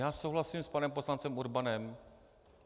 Já souhlasím s panem poslancem Urbanem.